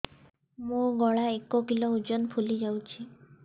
ମୋ ଗଳା ଏକ କିଲୋ ଓଜନ ଫୁଲି ଯାଉଛି